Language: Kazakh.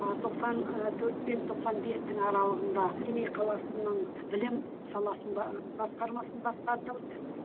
ыыы тоқсан ы төрт пен тоқсан бестің аралығында семей қаласының білім саласының басқармасын басқардым